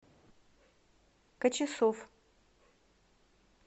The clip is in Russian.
качесов